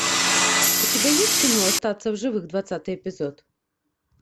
у тебя есть кино остаться в живых двадцатый эпизод